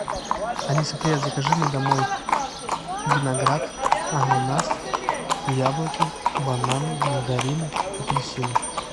алиса привет закажи мне домой виноград ананас яблоки бананы мандарины апельсины